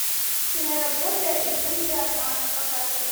киноработа иллюзия обмана показывай